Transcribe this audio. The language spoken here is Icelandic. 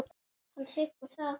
Hann þiggur það.